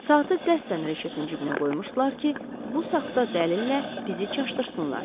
Saatı qəsdən reşetin cibinə qoymuşdular ki, bu saxta dəlillə bizi çaşdırsınlar.